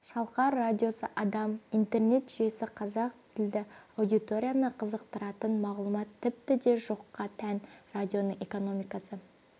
шалқар радиосы адам интернет жүйесі қазақ тілді аудиторияны қызықтыратын мағлұмат тіпті де жоққа тән радионың экономикасы